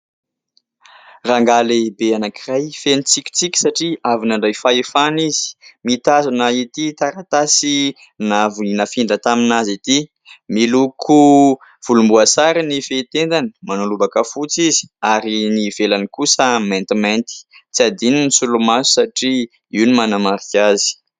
rahangaha lehibe anankiray fenintsikontsiky satria avinandray fahefana izy mitazona ity taratasy navoinafindra tamina azy ity miloko volomboasary ny fetendany manolobaka fotsy izy ary ny velany kosa mentimenty tsy adiany ny solomaso satria io ny manamarika azy